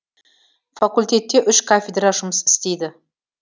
факультетте үш кафедра жұмыс істейді